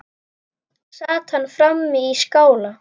Sat hann frammi í skála.